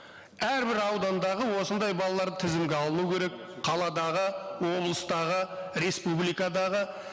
әрбір аудандағы осындай балалар тізімге алынуы керек қаладағы облыстағы республикадағы